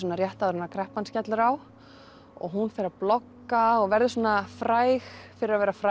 rétt áður en kreppan skellur á og hún fer að blogga og verður fræg fyrir að vera fræg